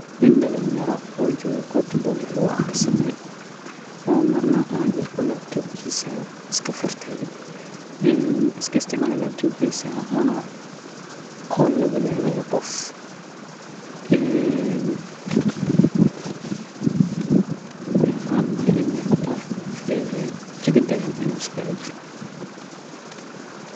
Nin dalinyaro oo joogo meesha bugtaha lagu aqristo, oo labtobkiisa iska furtay oo qof kahadlaayo, ani ahaan waaxaa ii muqataa inuu jawi dagan iskaaga jiro.